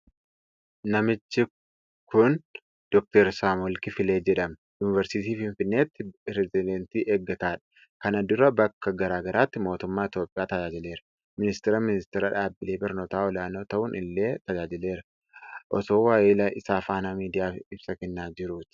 Namichi kun Dr Saamu'eel Kiflee jedhama. Yunivarsiitii Finfinneetti pireezidaantii eggataadha. Kana dura bakka garaa garaatti mootummaa Itoophiyaa tajaajileera. Ministiira Ministeera Dhaabbilee Barnootaa Olaanoo ta'uun illee tajaajileera. Osoo waahila isaa faana miidiyaaf ibsa kennaa jiruuti.